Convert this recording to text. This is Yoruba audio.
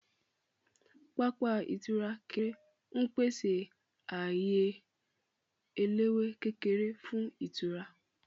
Pápá ìtura kékeré ń pèsè ààyè eléwé kékeré fún ìtura